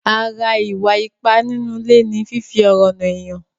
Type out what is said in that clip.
Ara ìwà ipá nínú ilé ni fífi ọ̀rọ̀ nà èèyàn.